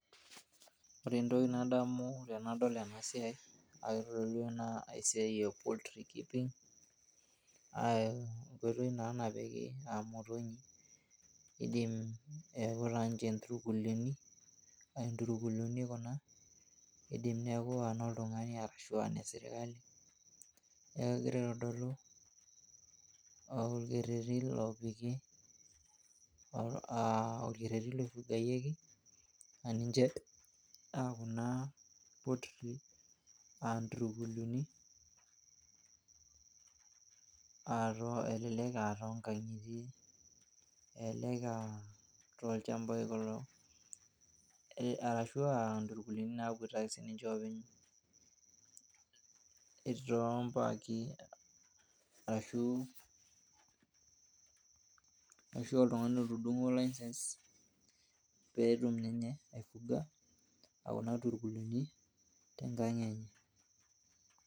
Ore entoki nadamu tenadol ena siai. Naa kitodolu ajo esiaai e poultry keeping aa enkoitoi naa napiki imotonyi . Neaku taa ninche inturkuluoni ,inturkuluoni Kuna, idim niaku inoltungani ashuaa ine sirkali. Neeku kegira aitodolu orkereti loifugayieki